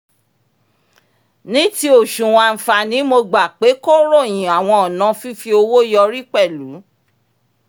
ní ti oṣuwọn àǹfààní mo gbà pé kó ròyìn àwọn ònà fífi owó yọrí pẹ̀lú